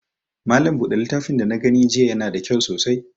Malam buɗe littafin da na gani jiya ya na da kyau sosai